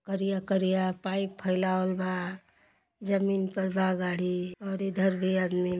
करिया करिया पाइप फइलावल बा। जमीन पर बा गाड़ी और इधर भी आदमी --